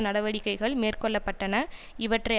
நடவடிக்கைகள் மேற்கொள்ள பட்டன இவற்றை